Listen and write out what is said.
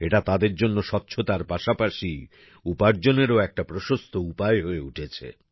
এটা তাদের জন্য স্বচ্ছতার পাশাপাশি উপার্জনেরও একটা প্রশস্ত উপায় হয়ে উঠছে